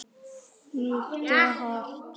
Mjúkt eða hart?